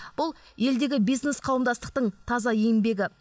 бұл елдегі бизнес қауымдастықтың таза еңбегі